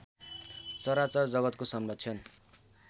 चराचर जगतको संरक्षण